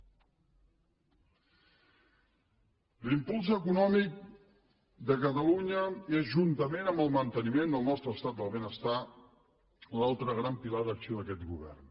l’impuls econòmic de catalunya és juntament amb el manteniment del nostre estat del benestar l’altre gran pilar d’acció d’aquest govern